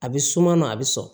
A bɛ suma na a bɛ sɔn